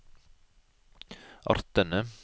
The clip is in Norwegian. artene